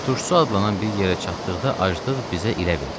Turşusu adlanan bir yerə çatdıqda aclıq bizə ilə verdi.